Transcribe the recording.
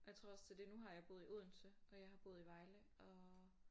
Og jeg tror også det er det nu har jeg boet i Odense og jeg har boet i Vejle og